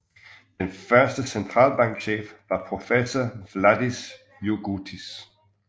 Den første centralbankchef var professor Vladas Jurgutis